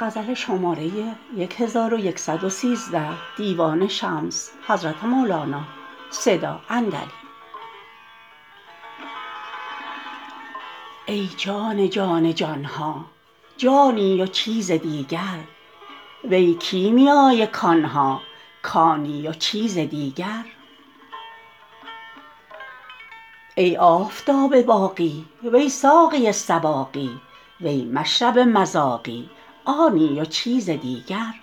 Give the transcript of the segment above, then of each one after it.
ای جان جان جان ها جانی و چیز دیگر وی کیمیای کان ها کانی و چیز دیگر ای آفتاب باقی وی ساقی سواقی وی مشرب مذاقی آنی و چیز دیگر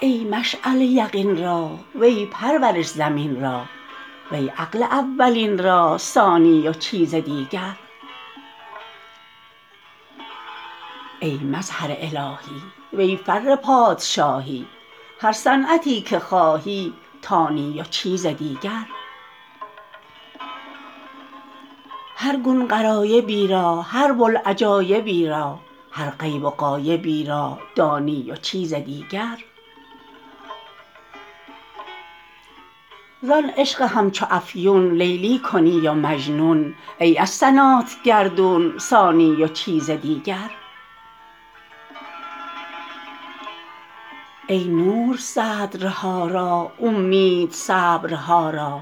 ای مشعله یقین را وی پرورش زمین را وی عقل اولین را ثانی و چیز دیگر ای مظهر الهی وی فر پادشاهی هر صنعتی که خواهی تانی و چیز دیگر هر گون غرایبی را هر بوالعجایبی را هر غیب و غایبی را دانی و چیز دیگر زان عشق همچو افیون لیلی کنی و مجنون ای از سنات گردون سانی و چیز دیگر ای نور صدرها را اومید صبرها را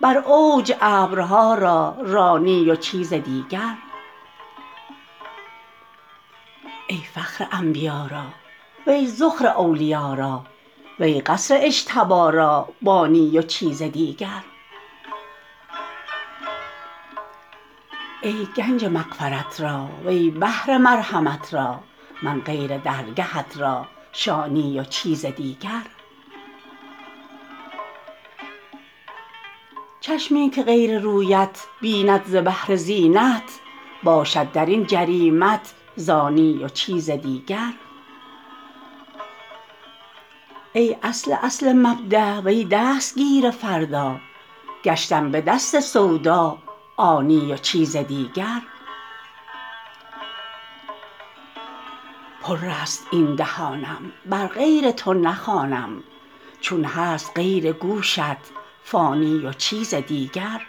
بر اوج ابرها را رانی و چیز دیگر ای فخر انبیا را وی ذخر اولیا را وی قصر اجتبا را بانی و چیز دیگر ای گنج مغفرت را وی بحر مرحمت را من غیر درگهت را شانی و چیز دیگر چشمی که غیر رویت بیند ز بهر زینت باشد در این جریمت زانی و چیز دیگر ای اصل اصل مبدا وی دستگیر فردا گشتم به دست سودا عانی و چیز دیگر پرست این دهانم بر غیر تو نخوانم چون هست غیر گوشت فانی و چیز دیگر